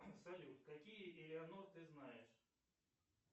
салют какие элеонор ты знаешь